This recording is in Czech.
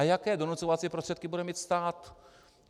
A jaké donucovací prostředky bude mít stát?